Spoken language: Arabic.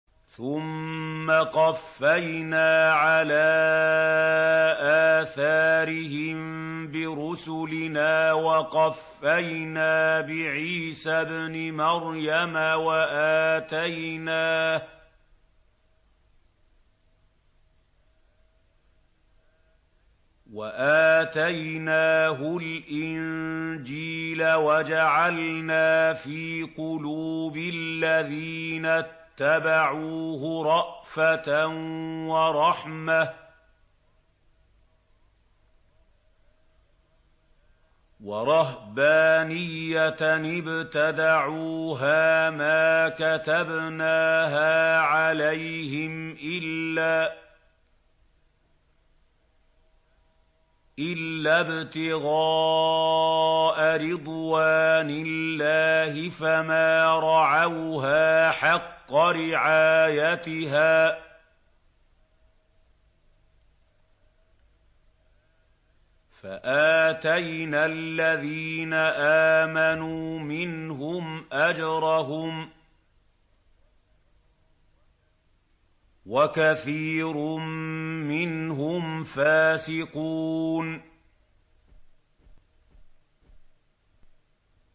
ثُمَّ قَفَّيْنَا عَلَىٰ آثَارِهِم بِرُسُلِنَا وَقَفَّيْنَا بِعِيسَى ابْنِ مَرْيَمَ وَآتَيْنَاهُ الْإِنجِيلَ وَجَعَلْنَا فِي قُلُوبِ الَّذِينَ اتَّبَعُوهُ رَأْفَةً وَرَحْمَةً وَرَهْبَانِيَّةً ابْتَدَعُوهَا مَا كَتَبْنَاهَا عَلَيْهِمْ إِلَّا ابْتِغَاءَ رِضْوَانِ اللَّهِ فَمَا رَعَوْهَا حَقَّ رِعَايَتِهَا ۖ فَآتَيْنَا الَّذِينَ آمَنُوا مِنْهُمْ أَجْرَهُمْ ۖ وَكَثِيرٌ مِّنْهُمْ فَاسِقُونَ